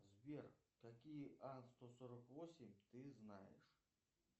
сбер какие ан сто сорок восемь ты знаешь